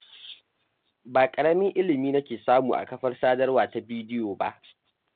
Ba ƙaramin ilimi nake samu a kafar sadarwa ta bidiyo ba.